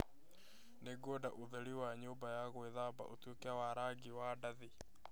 Nĩngwenda ũtheri wa nyũmba ya gwĩthamba ũtuĩke wa rangi wa ndathi.